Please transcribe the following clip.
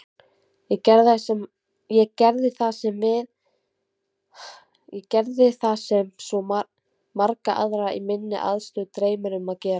Ég gerði það sem svo marga aðra í minni aðstöðu dreymir um að gera.